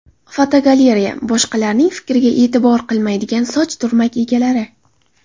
Fotogalereya: Boshqalarning fikriga e’tibor qilmaydigan soch turmak egalari.